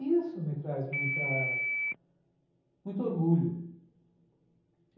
E isso me traz muita... muito orgulho.